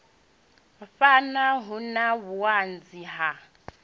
phana hu na vhuanzi ha